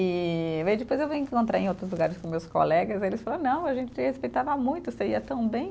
E aí depois eu vim encontrar em outros lugares com meus colegas e eles falaram, não, a gente te respeitava muito, você ia tão bem.